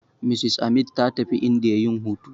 Mrs Amit ta tafi indiya yin hutu.